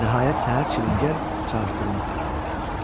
Nəhayət səhər çilingər çağırtdırmaq qərarına gəldilər.